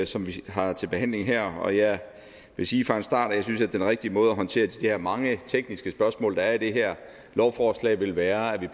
som vi har til behandling her og jeg vil sige fra en start at jeg synes at den rigtige måde at håndtere de der mange tekniske spørgsmål der er i det her lovforslag vil være at